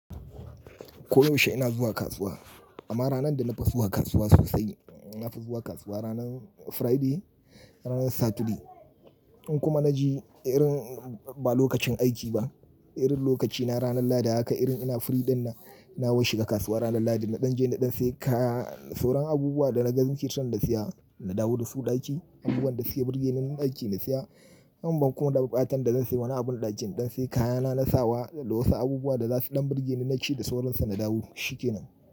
Ko yaushe ina zuwa kasuwa amma ranar da na fi zuwa kasuwa sosai, na fi zuwa kasuwa ranar Friday, ranar Saturday. In kuma na je irin ba lokacin aiki ba, irin lokaci na ranar Lahadi haka irin ina free dinnan, na washi ga kasuwa ranar Lahadi. Na ɗan je na ɗan sayi kaya, soran abubuwa da na ga gun tun da siya na dawo da su ɗaki, abubuwan da suke birge ni na ɗaki na siya. Amma kuma baƙi ɓatan da zan sayi mana abun ɗakin. Ɗan sai kayana na sawa da wasu abubuwa da za su ɗan birgel ni naci da soran su na dawo shikenan.